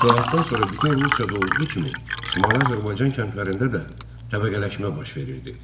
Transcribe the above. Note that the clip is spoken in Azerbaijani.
İslahattan sonra bütün Rusiyada olduğu kimi Şimali Azərbaycan kəndlərində də təbəqələşmə baş verirdi.